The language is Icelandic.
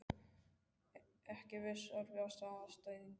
Ekki viss Erfiðasti andstæðingur?